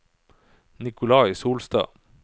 Nikolai Solstad